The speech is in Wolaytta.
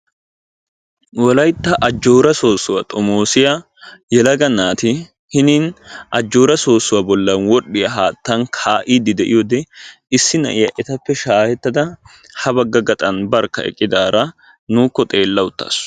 Wolaytta ajjooraa soossuwa xomoosiya yelaga naati hinin ajjooraa soossuwa wodhdhiya haattan kaa'iiddi diyode Issi na'iya etappe shaahettada ha bagga gaxan barkka eqqidaara nuukko xeella uttaasu.